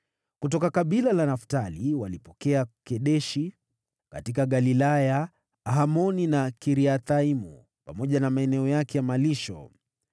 Kutoka kabila la Naftali walipokea Kedeshi katika Galilaya, Hamoni na Kiriathaimu pamoja na maeneo yake ya malisho.